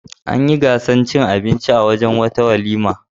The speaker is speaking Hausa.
An yi gasar cin abinci a wurin wata walima.